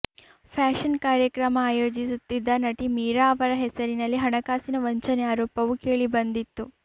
fashion ಕಾರ್ಯಕ್ರಮ ಆಯೋಜಿಸುತ್ತಿದ್ದ ನಟಿ ಮೀರಾ ಅವರ ಹೆಸರಿನಲ್ಲಿ ಹಣಕಾಸಿನ ವಂಚನೆ ಆರೋಪವು ಕೇಳಿ ಬಂದಿತ್ತು